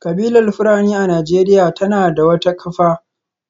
Kabilar Fulani a Najeriya tana da wata kafa